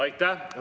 Aitäh!